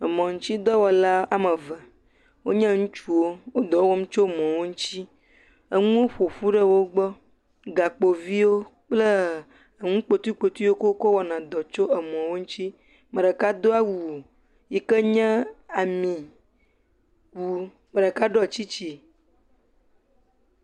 Emɔ nutsi dɔwɔlawo. Wonye ŋutsuwo, wole dɔ wɔm tso mɔ ŋuti. Enuwo ƒoƒu ɖe wogbɔ. Gakpovi kple nukpotuikpotuiwo ke wo kɔ wɔna ɖɔ tso emɔ ŋuti. Me ɖeka do awu yike nye ami ŋu me ɖeka ɖɔ tsitsi.